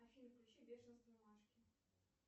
афина включи бешенство машки